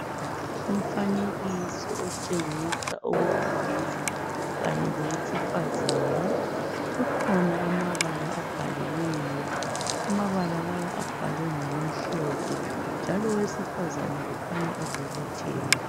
Umfanekiso otshengisa owesilisa kanye lowesifazana .Kukhona amabala abhaliweyo ,amabala lawa abhalwe ngokumhlophe njalo owesifazana kukhanya ebobotheka.